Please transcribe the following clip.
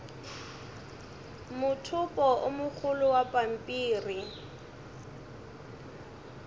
mothopo o mogolo wa pampiri